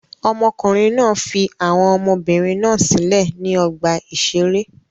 Ọmọkùnrin náà fi àwọn ọmọbìnrin náà sílẹ̀ sí ọgbà-ìṣeré.